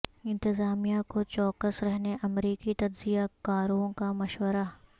انتظامیہ کو چوکس رہنے امریکی تجزیہ کاروں کا مشورہ